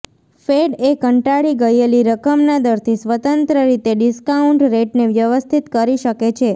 fed એ કંટાળી ગયેલી રકમના દરથી સ્વતંત્ર રીતે ડિસ્કાઉન્ટ રેટને વ્યવસ્થિત કરી શકે છે